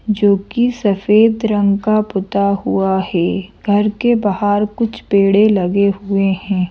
जो कि सफेद रंग का पुता हुआ है घर के बाहर कुछ पेड़े लगे हुए हैं।